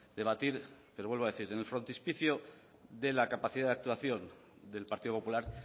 debatir pero le vuelvo a decir en el frontispicio de la capacidad de actuación del partido popular